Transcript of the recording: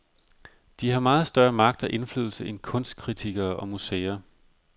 De har meget større magt og indflydelse end kunstkritikere og museer.